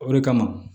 O de kama